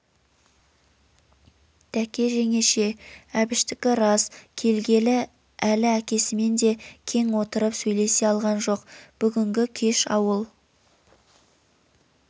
дәке жеңеше әбіштікі рас келгелі өлі әкесімен де кең отырып сойлеее алған жоқ бүгінгі кеш ауыл